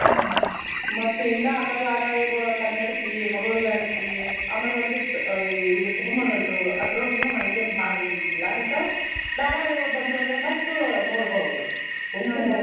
ಹ್ಮ್ ಮತ್ತೆ ಇನ್ನ ಅಂತ ಧಾರವಾಹಿಗೊಳ ಕನ್ನಡತಿ, ಮಗಳು ಜಾನಕಿ ಆಮ್ಯಾಗ್ ಒಂದಿಷ್ಟ್ ಆ ಈ ಬ್ರಹ್ಮಗಂಟು ಅದ್ರೊಳಗುನು ಹಂಗೇನ್ ಬಾಳ್ ಇದ್ ಇದ್ದಿದ್ದಿಲ್ಲ ಹಿಂತಾವ್ ಧಾರವಾಹಿಗೊಳ ಬಂದು ಅಂದ್ರ ಮತ್ತು ನೋಡ್ಬಹುದು ಕುಂತ್ ನೋಡ್ಬಹುದ್.